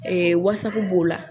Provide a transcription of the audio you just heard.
Ɛɛ b'o la